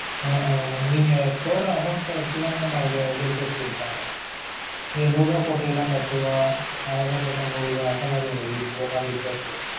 அஹ் நீங்க போடுற amount ட வச்சு தான் mam அவுங்க interest குடுப்பாங்க நீங்க நூறு ரூபா போடிங்கனா பத்து ரூபா ஆயிரருபா போட்டா நூறு ரூபா அந்த மாதிரி ஒவ்வொரு நாளைக்கு interest ஏறும்